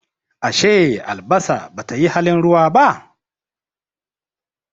Ashe albasa Bata yi halin ruwa ba?